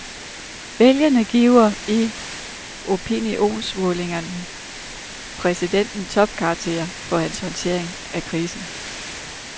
Vælgerne giver i opinionsmålinger præsidenten topkarakterer for hans håndtering af krisen.